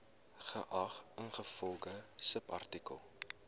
geag ingevolge subartikel